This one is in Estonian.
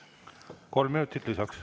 Kolm minutit lisaks.